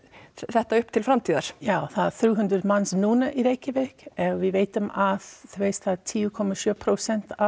þetta upp til framtíðar já það eru þrjú hundruð manns núna í Reykjavík en við vitum að þú veist það eru tíu komma sjö prósent af